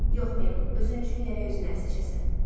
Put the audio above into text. Yox, Mebl, özün üçün gərək özünə ərə seçəsən.